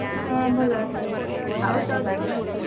ହଁ ଭଲ ଅଛନ୍ତି ଆଉ ତୋ ଦେହ ଭଲ ଅଛି?